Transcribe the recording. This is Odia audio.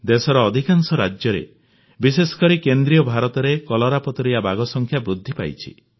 ଦେଶର ଅଧିକାଂଶ ରାଜ୍ୟରେ ବିଶେଷ କରି କେନ୍ଦ୍ରୀୟ ଭାରତରେ କଲରାପତରିଆ ବାଘ ସଂଖ୍ୟା ବୃଦ୍ଧି ପାଇଛି